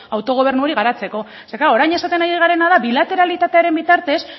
autogobernu hori garatzeko zeren orain esaten ari garena da bilateralitateari bitartez